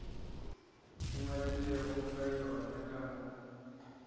ngwadilego ka yona ka moka